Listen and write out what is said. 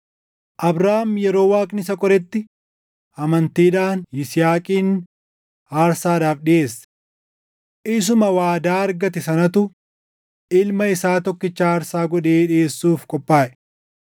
Abrahaam yeroo Waaqni isa qoretti amantiidhaan Yisihaaqin aarsaadhaaf dhiʼeesse. Isuma waadaa argate sanatu ilma isaa tokkicha aarsaa godhee dhiʼeessuuf qophaaʼe;